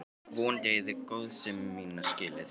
Vonandi eigið þið góðsemi mína skilið.